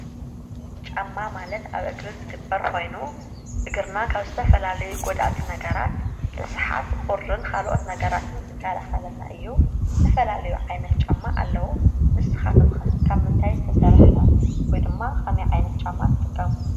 ጫማ ማለት ኣብ እግሪ ዝግበር ኮይኑ እግርና ካብ ዝተፈላለዩ ጎዳእቲ ነገራት ርስሓት ቁርን ካልኦት ነገራትን ዝከላኸልና እዩ፡፡ ዝተፈላለዩ ዓይነት ጫማ ኣለው ንስኻትኩም ኸ ካብ ምንታይ ዝተሰርሐ ወይ ድማ ከመይ ዓይነት ጫማ ትጥቀሙ፡፡